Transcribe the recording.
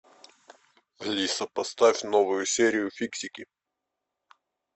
алиса поставь новую серию фиксики